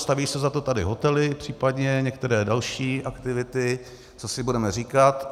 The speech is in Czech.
Staví se za to tady hotely, případně některé další aktivity, co si budeme říkat.